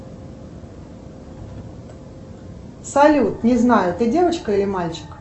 салют не знаю ты девочка или мальчик